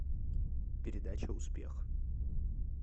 передача успех